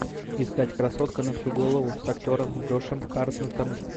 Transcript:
искать красотка на всю голову с актером джошем хартнеттом